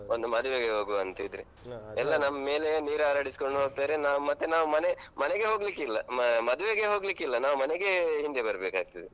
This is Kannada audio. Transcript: ಒಂದು ಮದುವೆಗೆ ಹೋಗುವಂತಿದ್ರೆ. ಎಲ್ಲ ನಮ್ ಮೇಲೆಯೇ, ನೀರು ಹಾರಡಿಸ್ಕೊಂಡು ಹೋಗ್ತಾರೆ ನಾವು ಮತ್ತೆ ನಾವು ಮನೆ ಮನೆಗೆ ಹೋಗ್ಲಿಕ್ಕಿಲ್ಲ ಮ~ ಮದುವೆಗೆ ಹೋಗ್ಲಿಕ್ಕಿಲ್ಲ ನಾವು ಮನೆಗೇ ಹಿಂದೆ ಬರ್ಬೇಕಾಗ್ತದೆ.